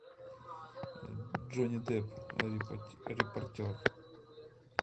джонни депп репортер